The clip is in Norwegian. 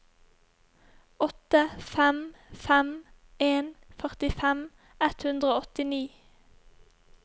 åtte fem fem en førtifem ett hundre og åttini